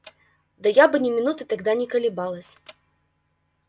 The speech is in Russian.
да я бы ни минуты тогда не колебалась